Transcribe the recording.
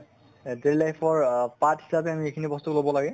daily life ৰ part হিচাপে আমি এইখিনি বস্তু লʼব লাগে